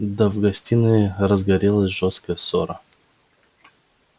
да в гостиной разгорелась жёстокая ссора